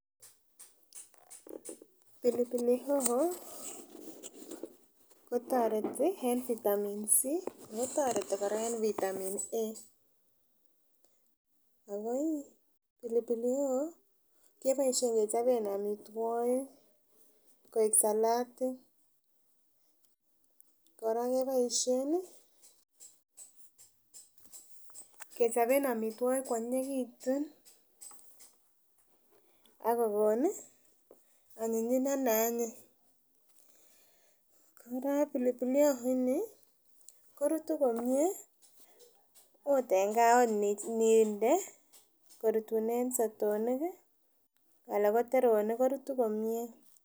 Pilipili hoho kotoreti en vitamin C ako toreti kora en vitamin A akoi pilipiki hoho keboisien kechoben amitwogik koik salatik kora keboisien ih kechoben amitwogik koanyinyekitun akokon ih onyinyindo ne anyin kora pilipili hoho ni korutu komie ot en gaa ot ninde korutunen sotonik ih ana ko teronik korutu komie